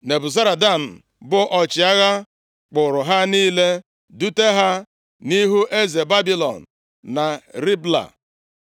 Nebuzaradan, bụ ọchịagha kpụụrụ ha niile dute ha nʼihu eze Babilọn na Ribla.